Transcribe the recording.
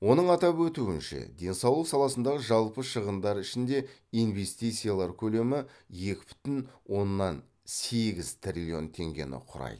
оның атап өтуінше денсаулық саласындағы жалпы шығындар ішінде инвестициялар көлемі екі бүтін оннан сегіз триллион теңгені құрайды